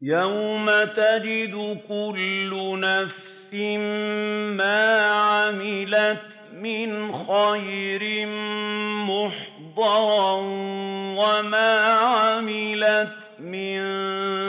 يَوْمَ تَجِدُ كُلُّ نَفْسٍ مَّا عَمِلَتْ مِنْ خَيْرٍ مُّحْضَرًا وَمَا عَمِلَتْ مِن